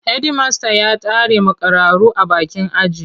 Hedimasta ya tare makararru a bakin aji.